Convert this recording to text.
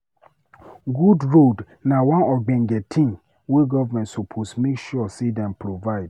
Good road na one ogbonge tin wey government suppose make sure say dem provide